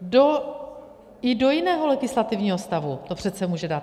I do jiného legislativního stavu to přece může dát.